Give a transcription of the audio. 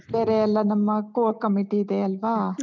ಬೇರೆ ಎಲ್ಲ ನಮ್ಮ Core Committee ಇದೆ ಅಲ್ವಾ?